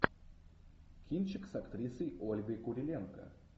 кинчик с актрисой ольгой куриленко